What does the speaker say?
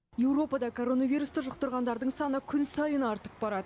еуропада коронавирусты жұқтырғандардың саны күн сайын артып барады